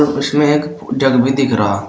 उसमें एक जग भी दिख रहा।